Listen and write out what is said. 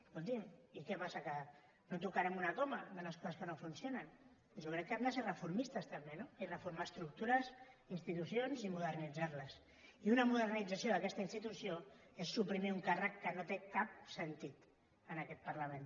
escolti’m i què passa que no tocarem una coma de les coses que no funcionen jo crec que hem de ser reformistes també no i reformar estructures institucions i modernitzar les i una modernització d’aquesta institució és suprimir un càrrec que no té cap sentit en aquest parlament